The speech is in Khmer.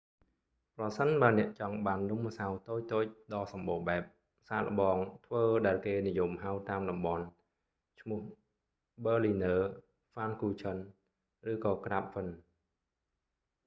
ប្រសិនបើអ្នកចង់បាននំម្សៅតូចៗដ៏សម្បូរបែប សាកល្បងធ្វើដែលគេនិយមហៅតាមតំបន់ ឈ្មោះបឺលីនើរ berliner ហ្វានគូឆឹន pfannkuchen ឬក៏ក្រាបហ្វិន krapfen